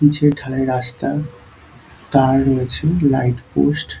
পিচের ঢালাই রাস্তা তার রয়েছে লাইট পোস্ট ।